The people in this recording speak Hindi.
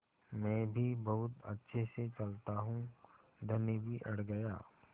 मैं भी बहुत अच्छे से चलता हूँ धनी भी अड़ गया